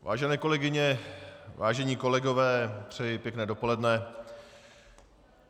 Vážené kolegyně, vážení kolegové, přeji pěkné dopoledne.